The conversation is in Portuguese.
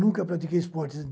Nunca pratiquei esportes.